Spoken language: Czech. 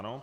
Ano.